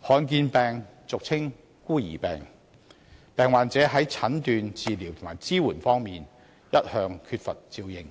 罕見疾病俗稱"孤兒病"，患者在診斷、治療及支援方面一向缺乏照應，